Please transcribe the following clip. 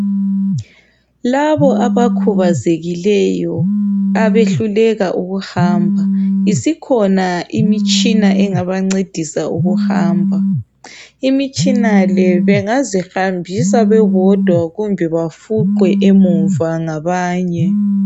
Labo abakhubazekileyo abehluleka ukuhamba isikhona imtshina engabancedisa ukuhamba. Imitshina le bengazihambisa bebodwa kumbe bafuqwe emuva ngabanye.